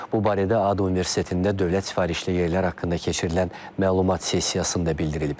Bu barədə ADU Universitetində dövlət sifarişli yerlər haqqında keçirilən məlumat sessiyasında bildirilib.